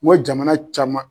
N ko jamana caman